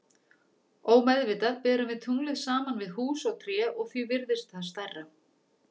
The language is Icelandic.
Ómeðvitað berum við tunglið saman við hús og tré og því virðist það stærra.